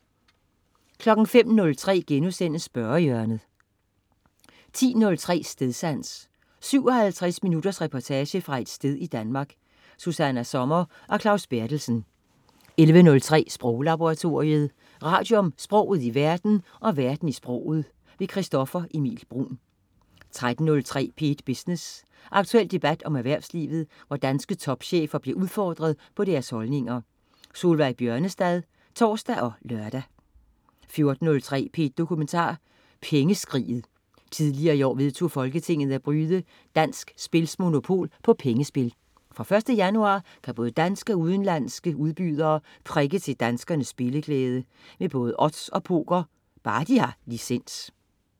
05.03 Spørgehjørnet* 10.03 Stedsans. 57 minutters reportage fra et sted i Danmark. Susanna Sommer og Claus Berthelsen 11.03 Sproglaboratoriet. Radio om sproget i verden og verden i sproget. Christoffer Emil Bruun 13.03 P1 Business. Aktuel debat om erhvervslivet, hvor danske topchefer bliver udfordret på deres holdninger. Solveig Bjørnestad (tors og lør) 14.03 P1 Dokumentar: Pengeskriget. Tidligere i år vedtog Folketinget at bryde Danske Spils monopol på pengespil. Fra 1. januar kan både danske og udenlandske udbydere prikke til danskernes spilleglæde. Med både odds og poker. Bare de har licens.